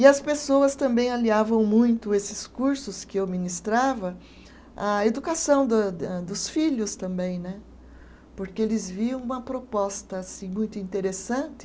E as pessoas também aliavam muito esses cursos que eu ministrava à educação da de hã dos filhos também né, porque eles viam uma proposta assim muito interessante